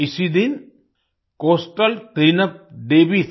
इसी दिन coastal cleanup day भी था